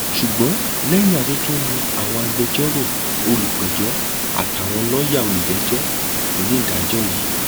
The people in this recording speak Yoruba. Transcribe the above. ṣùgbọn lẹyìn atótónu àwọn agbẹjọrò olùpẹjọ àtàwọn lọọyà olùjẹjọ lonídàájọ i